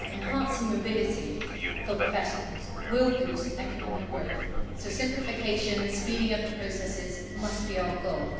Enhancing mobility for professionals will boost economic growth so simplification and speeding up of processes must be our goal.